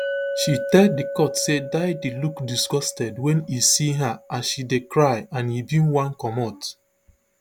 she tell di court say diddy look disgusted wen e see her as she dey cry and e bin wan comot